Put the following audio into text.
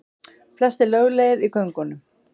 Flestir löglegir í göngunum